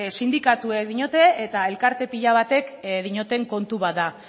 sindikatuek diote eta elkarte pila batzuk dioten kontu bat da